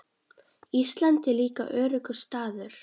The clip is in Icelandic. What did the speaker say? Ísland er líka öruggur staður.